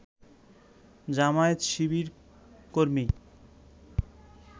জামায়াত-শিবিরকর্মী